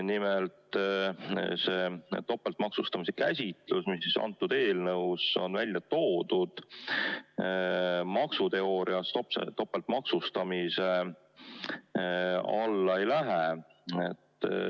Nimelt: see topeltmaksustamise käsitlus, mis eelnõus on välja toodud, maksuteoorias topeltmaksustamise alla ei lähe.